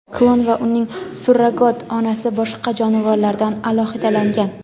Klon va uning surrogat onasi boshqa jonivorlardan alohidalangan.